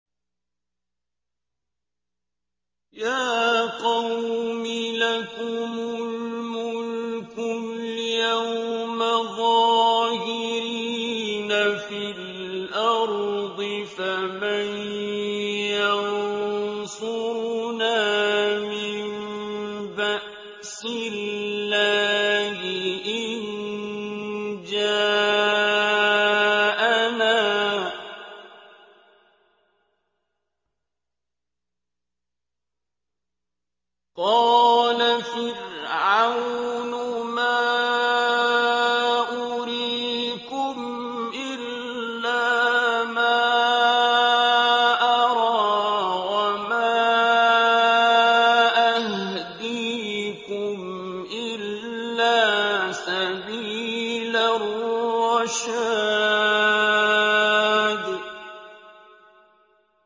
يَا قَوْمِ لَكُمُ الْمُلْكُ الْيَوْمَ ظَاهِرِينَ فِي الْأَرْضِ فَمَن يَنصُرُنَا مِن بَأْسِ اللَّهِ إِن جَاءَنَا ۚ قَالَ فِرْعَوْنُ مَا أُرِيكُمْ إِلَّا مَا أَرَىٰ وَمَا أَهْدِيكُمْ إِلَّا سَبِيلَ الرَّشَادِ